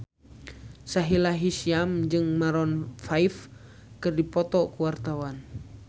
Sahila Hisyam jeung Maroon 5 keur dipoto ku wartawan